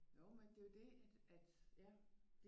Jo men det er jo det at ja